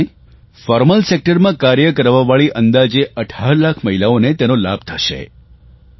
જેને કારણે ફોર્મલ સેકટરમાં કાર્ય કરવાવાળી અંદાજે 18 લાખ મહિલાઓને તેનો લાભ થશે